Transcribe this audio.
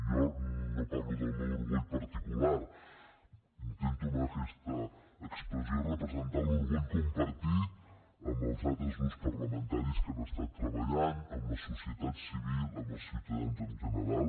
jo no parlo del meu orgull particular intento amb aquesta expressió representar l’orgull compartit amb els altres grups parlamentaris que hi han estat treballant amb la societat civil amb els ciutadans en general